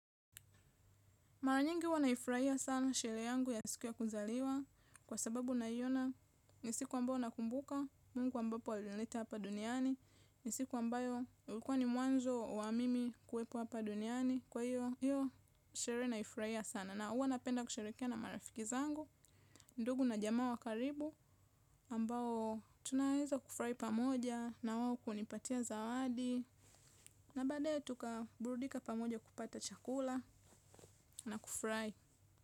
Mara nyingi huwa naifurahia sana sherehe yangu ya siku ya kuzaliwa kwa sababu naiona ni siku ambao nakumbuka, mungu ambapo alinileta hapa duniani, nisiku mbayo ulikuwa ni mwanzo wa mimi kuwepo hapa duniani kwa hiyo, hiyo shirehe naifurahia sana. Na huwa napenda kusharehekea na marafiki zangu, ndugu na jamaa wa karibu ambao tunaweza kufurahi pamoja na wao kunipatia zawadi na baadae tukaburudika pamoja kupata chakula na kufurahi.